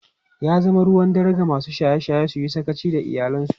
Ya zama ruwan dare ga masu shaye-shaye su yi sakaci da iyalansu.